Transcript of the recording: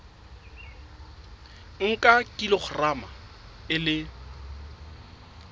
o nka kilograma e le